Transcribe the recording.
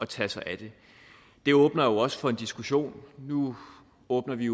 tage sig af det det åbner jo også for en diskussion nu åbner vi